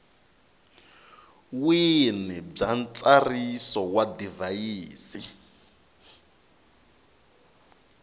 wini bya ntsariso wa divhayisi